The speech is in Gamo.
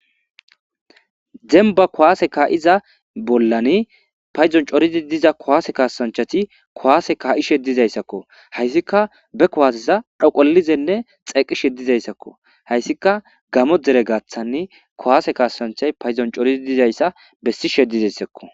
Demba kowaase ka7iza bollani payzon corizi diza kowaase kasanchati kowaase ka7ishe dizayssakko hayssika be kowaaseza dhoqolizenne xeqishe dizayssakko hayssika gamo dere gaaththanni kowaase kasancha payzon corizi dizayssa bessi she dizayssakko.